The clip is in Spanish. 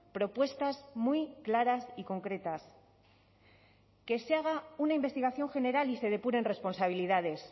propuestas muy claras y concretas que se haga una investigación general y se depuren responsabilidades